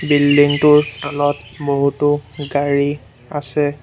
Building টোৰ তলত বহুতো গাড়ী আছে।